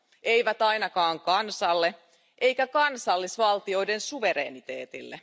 Eivät ainakaan kansalle eikä kansallisvaltioiden suvereniteetille.